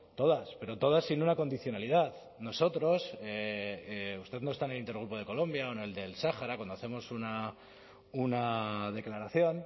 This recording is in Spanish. todas pero todas sin una condicionalidad nosotros usted no está en el intergrupo de colombia o en el del sahara cuando hacemos una declaración